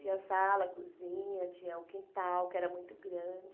Tinha sala, cozinha, tinha um quintal que era muito grande.